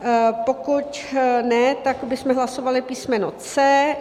Pokud ne, tak bychom hlasovali písmeno C.